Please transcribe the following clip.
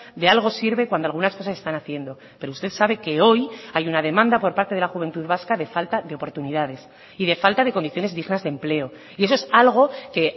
de algo sirve cuando algunas cosas se están haciendo pero usted sabe que hoy hay una demanda por parte de la juventud vasca de falta de oportunidades y de falta de condiciones dignas de empleo y eso es algo que